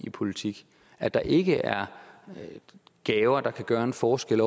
i politik at der ikke er gaver der kan gøre en forskel